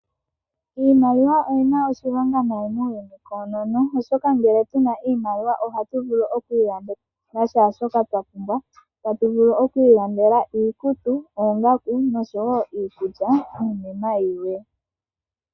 Iimaliwa oyi na oshilonga muuyuni auhe koonono, oshoka ngele otu na oshimaliwa ohatu vulu oku ilandela shaashoka twa pumbwa. Otatu vulu okuilandela iikutu, oongaku, iikulya niinima yilwe.